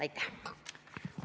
Aitäh!